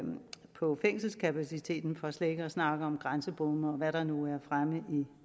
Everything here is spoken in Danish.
på fængselskapaciteten for slet ikke at snakke om grænsebomme og hvad der nu er fremme i